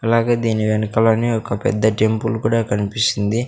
అలాగే దీని వెనకలనే ఒక పెద్ద టెంపుల్ కూడా కన్పిస్తుంది.